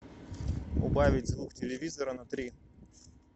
убавить звук телевизора на три